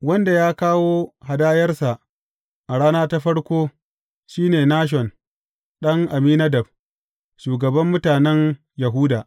Wanda ya kawo hadayarsa a rana ta farko shi ne Nashon ɗan Amminadab, shugaban mutanen Yahuda.